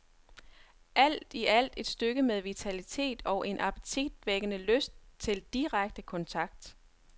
Alt i alt et stykke med vitalitet og en appetitvækkende lyst til direkte kontakt.